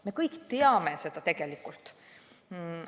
Me kõik seda tegelikult teame.